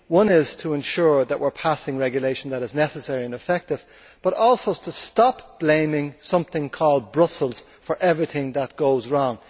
One is to ensure that we are passing regulation that is necessary and effective, but also to stop blaming something called Brussels for everything that goes wrong.